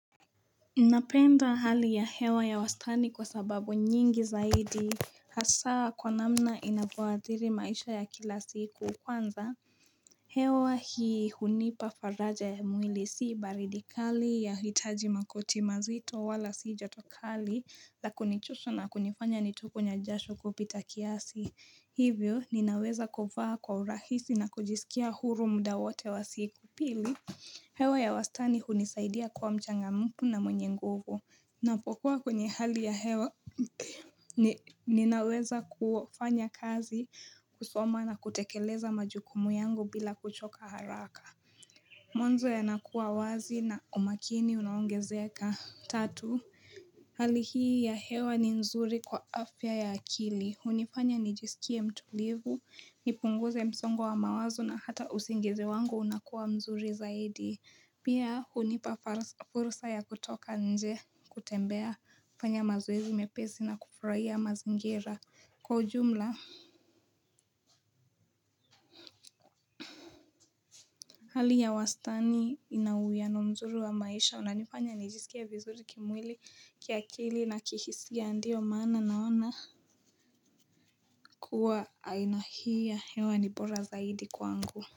Napenda hali ya hewa ya wastani kwa sababu nyingi zaidi Hasaa kwa namna inavyo adhiri maisha ya kila siku kwanza hewa hii hunipa faraja ya mwili si baridi kali ya hitaji makoti mazito wala si joto kali Lakunichusha na kunifanya nitokwe na jasho kupita kiasi Hivyo ninaweza kuvaa kwa urahisi na kujisikia huru muda wote wa siku pili hewa ya wastani hunisaidia kuwa mchangamufu na mwenye nguvu. Napokuwa kwenye hali ya hewa ninaweza kufanya kazi kusoma na kutekeleza majukumu yangu bila kuchoka haraka. Mwanzo yanakuwa wazi na umakini unaongezea ka tatu. Hali hii ya hewa ni nzuri kwa afya ya akili. Hunifanya nijisikie mtulivu, nipunguze msongo wa wa mawazo na hata usingizi wangu unakuwa mzuri zaidi. Pia hunipa fursa ya kutoka nje kutembea, fanya mazoezi mepesi na kufurahia mazingira. Kwa ujumla, hali ya wastani inauwiano mzuri wa maisha, unanifanya nijisikie vizuri kimwili kiakili na kihisia ndio maana naona kuwa aina hii ya hewa ni bora zaidi kwangu.